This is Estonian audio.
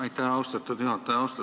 Aitäh, austatud juhataja!